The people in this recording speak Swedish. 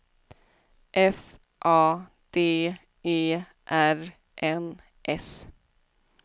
F A D E R N S